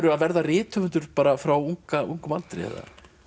að verða rithöfundur bara frá ungum ungum aldri eða